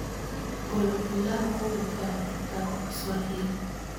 Golo pilau kowuok e od migago ma swahili